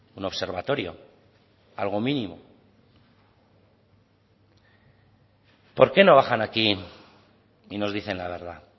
un observatorio algo mínimo por qué no bajan aquí y nos dicen la verdad